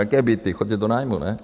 Jaké byty, choďte do nájmu, ne?